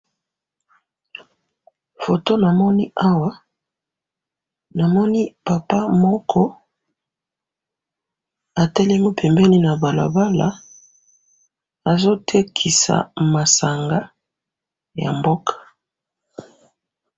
Eloko na moni awa, eza papa moko atelemi pembeni ya balabala azo teka masanga ya mboka